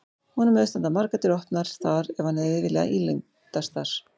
Honum hefðu staðið margar dyr opnar þar ef hann hefði viljað ílendast þar.